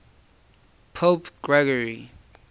pope gregory